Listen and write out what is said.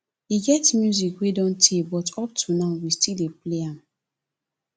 e get music wey don tey but up to now we still dey play am